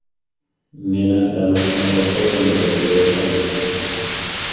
Meni Damas’ning orqa o‘rindig‘iga o‘tqizishdi.